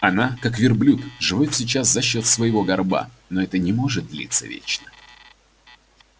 она как верблюд живёт сейчас за счёт своего горба но это не может длиться вечно